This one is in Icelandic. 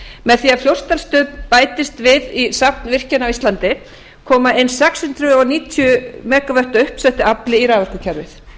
með því að fljótsdalsstöð bætist við í safn virkjana á íslandi koma ein sex hundruð níutíu megavött af uppsettu afli í raforkukerfið